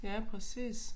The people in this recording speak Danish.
Ja præcis